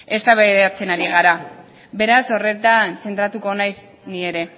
eztabaidatzen ari gara beraz horretan zentratuko naiz ni ere